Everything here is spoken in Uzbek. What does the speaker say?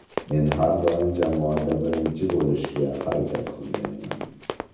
Men har doim jamoada birinchi bo‘lishga harakat qilganman.